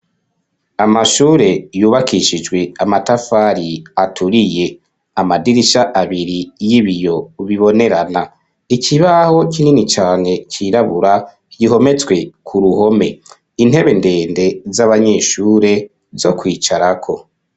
Amashure yubakishijwe amatafari aturiye, amadirisha abiri y'ibiyo bibonerana, ikibaho kinini cane cirabura gihometswe ku ruhome, intebe ndende z'abanyeshure zo kwicarako.